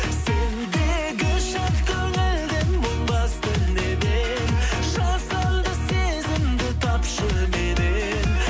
сендегі шат көңілді мұң басты неден жасанды сезімді тапшы меннен